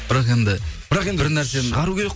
бірақ енді бірақ енді бір нәрсені шығару керек